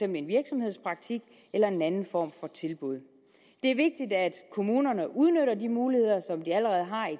en virksomhedspraktik eller en anden form for tilbud det er vigtigt at kommunerne udnytter de muligheder som de allerede har i